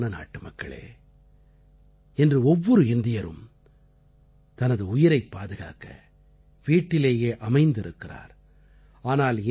எனக்குப் பிரியமான நாட்டுமக்களே இன்று ஒவ்வொரு இந்தியரும் தனது உயிரைப் பாதுகாக்க வீட்டிலேயே அமைந்திருக்கிறார்